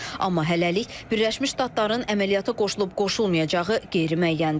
Amma hələlik Birləşmiş Ştatların əməliyyata qoşulub-qoşulmayacağı qeyri-müəyyəndir.